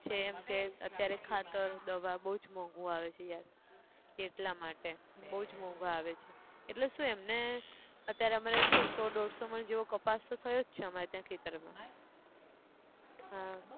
છે એમ કે અત્યારે ખાતર દવા બઉ જ મોંઘુ આવે છે યાર, એટલા માટે, બઉ જ મોંઘુ આવે છે, એટલે શું એમને, અત્યારે અમે લોકો કેટલું સો દોઢસો મણ જેવો કપાસ તો થયો જ છે અમારે ત્યાં ખેતર માં, હા